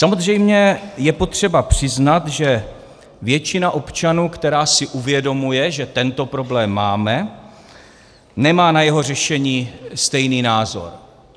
Samozřejmě je potřeba přiznat, že většina občanů, která si uvědomuje, že tento problém máme, nemá na jeho řešení stejný názor.